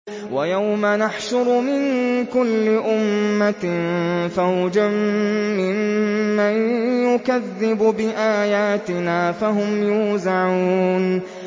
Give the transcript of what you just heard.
وَيَوْمَ نَحْشُرُ مِن كُلِّ أُمَّةٍ فَوْجًا مِّمَّن يُكَذِّبُ بِآيَاتِنَا فَهُمْ يُوزَعُونَ